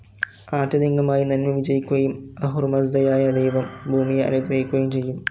ആത്യന്തികമായി നന്മ വിജയിക്കുകയും അഹുറമസ്‌ദയായ ദൈവം ഭൂമിയെ അനുഗ്രഹിക്കുകയും ചെയ്യും.